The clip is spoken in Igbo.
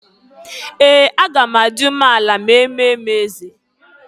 Ee! Aga m adị ume ala ma eme m eze.